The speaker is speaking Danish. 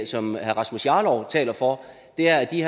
som herre rasmus jarlov taler for er at de